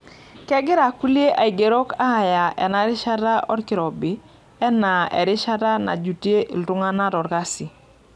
Kegira kulie aigerok aaya enarishata olkirobi anaa erishata najutie iltung'ana olkasi.